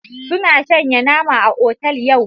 Suna shanya nama a otal yau.